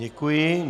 Děkuji.